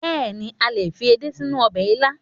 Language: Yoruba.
Bẹ́èni, a lè fi edé sínú ọbẹ̀ ilá